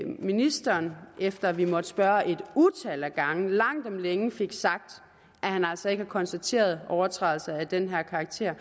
ministeren efter at vi måtte spørge et utal af gange langt om længe fik sagt at han altså ikke har konstateret overtrædelser af den her karakter